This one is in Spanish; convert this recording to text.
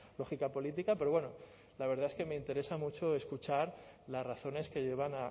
lógica política pero bueno la verdad es que me interesa mucho escuchar las razones que llevan